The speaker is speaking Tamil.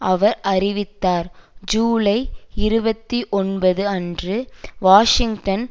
அவர் அறிவித்தார் ஜூலை இருபத்தி ஒன்பது அன்று வாஷிங்டன்